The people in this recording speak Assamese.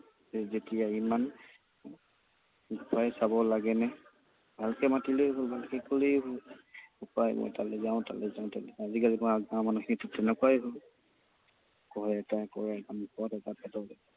ইমান ভয় খাব লাগেনে? ভালকৈ মাতিলেই হ'ল, কলেই হ'ল। অলে যাওঁ, তলে যাওঁ, আজিকালি গাঁৱৰ মানুহখিনিতো তেনেকুৱাই হ'ল। কয় এটা, কৰে এটা, মুখত এটা, পেটত এটা।